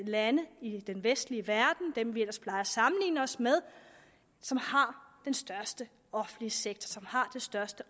lande i den vestlige verden blandt dem vi ellers plejer at sammenligne os med som har den største offentlige sektor og som har det største